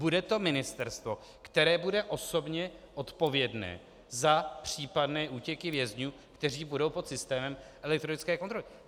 Bude to ministerstvo, které bude osobně odpovědné za případné útěky vězňů, kteří budou pod systémem elektronické kontroly.